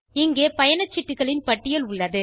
இங்கே பயணச்சீட்டுகளின் பட்டியல் உள்ளது